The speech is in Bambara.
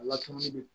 A lakanali